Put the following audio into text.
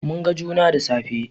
Mun ga juna da safe